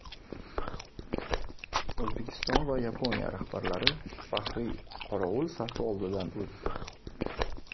O‘zbekiston va Yaponiya rahbarlari faxriy qorovul safi oldidan o‘tdi.